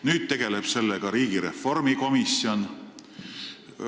Nüüd tegeleb sellega riigireformi komisjon.